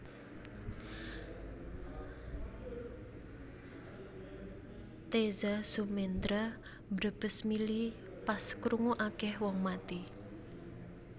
Teza Sumendra mbrebes mili pas krungu akeh wong mati